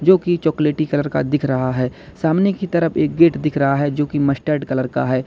जो कि चॉकलेटी कलर का दिख रहा है सामने की तरफ एक गेट दिख रहा है जो की मस्टर्ड कलर का है।